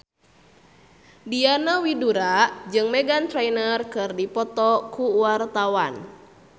Diana Widoera jeung Meghan Trainor keur dipoto ku wartawan